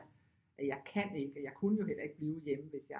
Jeg kan ikke og jeg kunne jo heller ikke blive hjemme hvis jeg